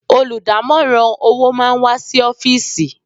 Olùdámọ̀ràn owó máà wá sí ọ́fìsì.